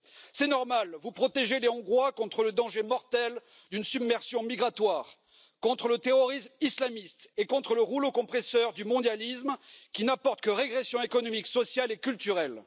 C'est normal, vous protégez les Hongrois contre le danger mortel d'une submersion migratoire, contre le terrorisme islamiste et contre le rouleau compresseur du mondialisme, qui n'apporte que régression économique, sociale et culturelle.